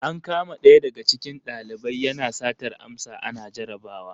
An kama ɗaya daga cikin valiban yana satar amsa ana jarabawar.